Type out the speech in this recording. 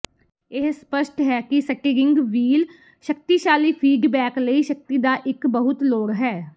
ਇਹ ਸਪਸ਼ਟ ਹੈ ਕਿ ਸਟੀਰਿੰਗ ਵੀਲ ਸ਼ਕਤੀਸ਼ਾਲੀ ਫੀਡਬੈਕ ਲਈ ਸ਼ਕਤੀ ਦਾ ਇੱਕ ਬਹੁਤ ਲੋੜ ਹੈ